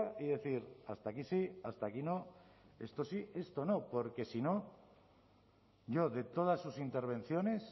y decir hasta aquí sí hasta aquí no esto sí esto no porque si no yo de todas sus intervenciones